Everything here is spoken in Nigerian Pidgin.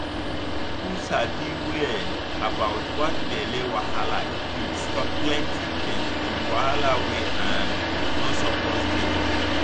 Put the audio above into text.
if people sabi well about that belly wahala e fit stop plenty pain and wahala wey um no suppose dey.